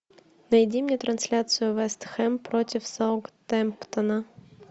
найди мне трансляцию вест хэм против саутгемптона